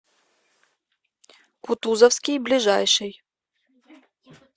кутузовский ближайший